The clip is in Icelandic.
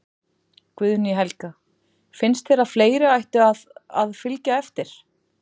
Guðný Helga: Finnst þér að fleiri ættu að, að fylgja eftir?